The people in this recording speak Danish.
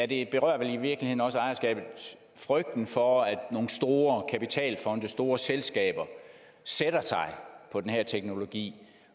det berører vel i virkeligheden også ejerskabet frygten for at nogle store kapitalfonde nogle store selskaber sætter sig på den her teknologi